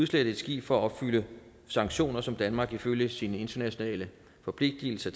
slette et skib for at opfylde sanktioner som danmark ifølge sine internationale forpligtelser